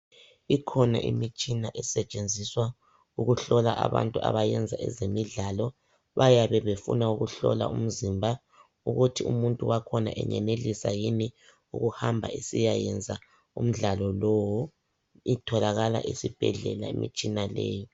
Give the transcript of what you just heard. Ikhona imitshina esetshenziswa ukuhlola abantu abenza ezemidlalo, bayabe befuna ukuhlola umzimba ukuthi umuntu wakhona engenelisa yini ukuhamba esiyayenza umdlalo lowo itholakala esibhedlela imitshina leyi.